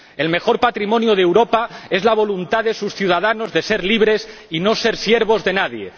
El mejor patrimonio de Europa es la voluntad de sus ciudadanos de ser libres y no ser siervos de nadie.